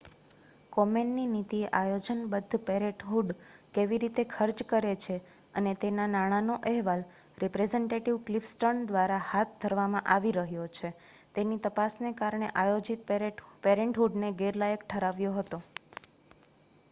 કોમેનની નીતિએ આયોજનબદ્ધ પેરેન્ટહૂડ કેવી રીતે ખર્ચ કરે છે અને તેના નાણાંનો અહેવાલ રિપ્રેઝેન્ટેટિવ ક્લિફ સ્ટર્ન્સ દ્વારા હાથ ધરવામાં આવી રહ્યો છે તેની તપાસને કારણે આયોજિત પેરેન્ટહૂડને ગેરલાયક ઠરાવ્યો હતો